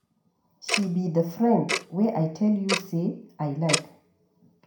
She be the friend wey I tell you say I Iike.